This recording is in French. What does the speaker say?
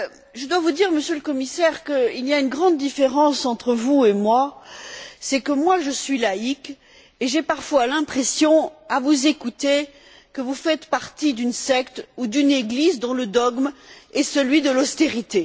Je dois vous dire, Monsieur le Commissaire, qu'il y a une grande différence entre vous et moi, à savoir que moi, je suis laïque, et j'ai parfois l'impression à vous écouter que vous faites partie d'une secte ou d'une église dont le dogme est celui de l'austérité.